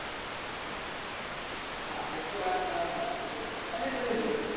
હા એ તો વાત તમારી સાચી જ છે અને તમે જોવો